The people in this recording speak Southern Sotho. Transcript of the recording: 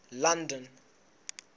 london